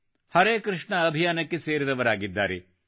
ಹರೆ ಕೃಷ್ಣ ಅಭಿಯಾನಕ್ಕೆ ಸೇರಿದವರಾಗಿದ್ದಾರೆ